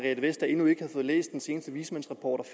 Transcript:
jeg læst den seneste vismandsrapport